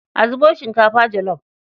A zubo shinkafa jolof.